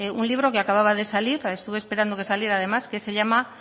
un libro que acababa de salir estuve esperando a que saliera además que se llama